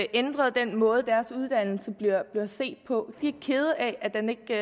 ændret den måde deres uddannelse bliver set på de er kede af at den ikke